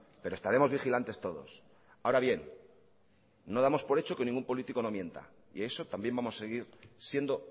pero estaremos vigilantes todos ahora bien no damos por hecho que ningún político no mienta y eso también vamos a seguir siendo